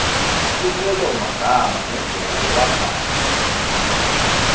lupelomagama nendlela lewakha